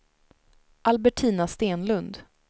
Albertina Stenlund